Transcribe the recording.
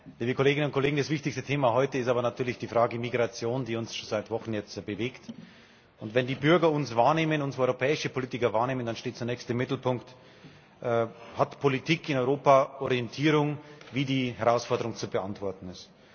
Liebe Kolleginnen und Kollegen, das wichtigste Thema heute ist aber natürlich die Frage der Migration, die uns jetzt schon seit Wochen bewegt. Und wenn die Bürger uns wahrnehmen, unsere europäischen Politiker wahrnehmen, dann steht zunächst im Mittelpunkt Hat Politik in Europa Orientierung, wie die Herausforderung zu beantworten ist?